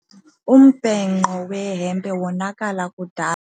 Umbhenqo wehempe wonakala kudala.